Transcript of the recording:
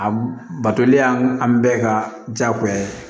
A batoli y'an bɛɛ ka diyagoya ye